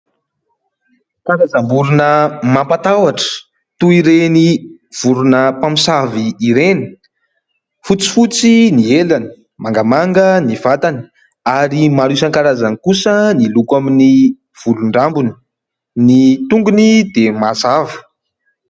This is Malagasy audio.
Karazam-borona mampatahotra toy ireny vorona mpamosavy ireny, fotsifotsy ny elany, mangamanga ny vatany ary maro isankarazany kosa ny loko amin'ny volon-drambony, ny tongony dia mazava.